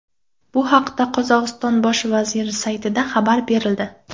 Bu haqda Qozog‘iston Bosh vaziri saytida xabar berildi .